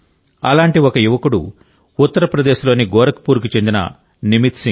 అలాంటి ఒక యువకుడు ఉత్తరప్రదేశ్ లోని గోరఖ్పూర్ కు చెందిన నిమిత్ సింగ్